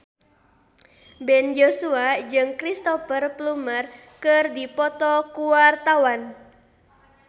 Ben Joshua jeung Cristhoper Plumer keur dipoto ku wartawan